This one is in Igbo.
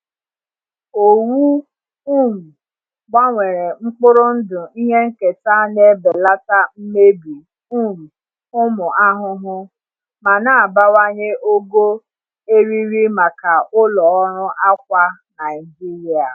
Owu um gbanwere mkpụrụ ndụ ihe nketa na-ebelata mmebi um ụmụ ahụhụ, ma na-abawanye ogo eriri maka ụlọ ọrụ akwa Naijiria.